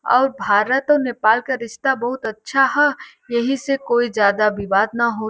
औउर् भारत और नेपाल का रिश्ता बहुत अच्छा ह। एही से ज्यादा कोई विवाद न हो--